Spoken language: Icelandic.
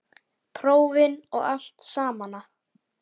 Prófin og allt samana.